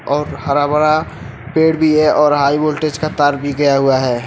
और हरा भरा पेड़ भी है और हाई वोल्टेज का तार भी गया हुआ है।